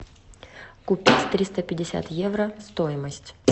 купить триста пятьдесят евро стоимость